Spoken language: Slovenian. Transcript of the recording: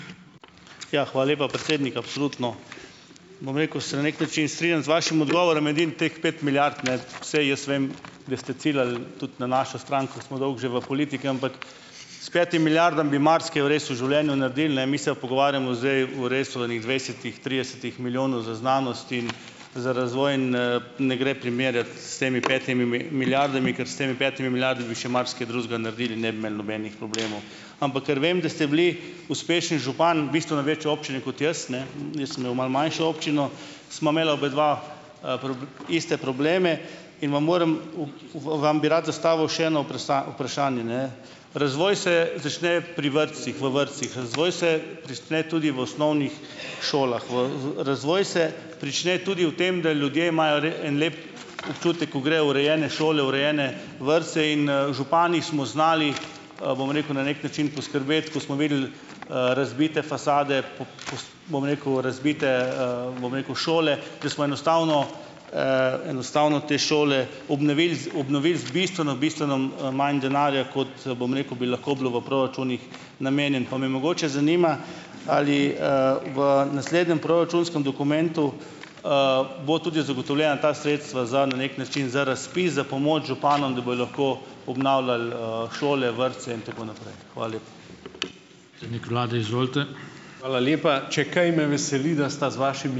Ja, hvala lepa, predsednik. Absolutno, bom rekel, se na neki način strinjam z vašim odgovorom. Edino teh pet milijard, ne, saj jaz vem, da ste ciljali tudi na našo stran, ko smo dolgo že v politiki, ampak s petim milijardami bi marsikaj res v življenju naredili, ne, mi se pogovarjamo zdaj o res o enih dvajsetih, tridesetih milijonih za znanost in za razvoj in, ne gre primerjati s temi petimi milijardami, ker s temi petimi milijardami bi še marsikaj drugega naredili in ne bi imeli nobenih problemov. Ampak ker vem, da ste bili uspešen župan bistveno večje občine kot jaz, ne, jaz sem imel malo manjšo občino, sva imela obadva, iste probleme in vam morem, vam bi rad zastavil še eno vprašanje, ne. Razvoj se začne pri vrtcih, v vrtcih. Razvoj se prične tudi v osnovnih šolah, v razvoj se prične tudi v tem, da ljudje imajo en lep občutek, ko grejo v urejene šole, v urejene vrtce in, župani smo znali, bom rekel, na neki način poskrbeti, ko smo videli, razbite fasade, bom rekel, razbite, bom rekel, šole, da smo enostavno, enostavno te šole obnovili z obnovili z bistveno bistveno manj denarja, kot, bom rekel, bi lahko bilo v proračunih namenjeno. Pa me mogoče zanima: Ali, v naslednjem proračunskem dokumentu, bodo tudi zagotovljena ta sredstva za, na neki način za razpis, za pomoč županom, da bojo lahko obnavljali, šole, vrtce in tako naprej. Hvala lepa.